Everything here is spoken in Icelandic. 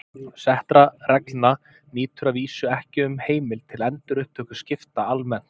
Settra reglna nýtur að vísu ekki um heimild til endurupptöku skipta almennt.